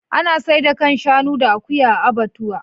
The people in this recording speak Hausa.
Ana saida kan shanu da akuya a abbatuwa.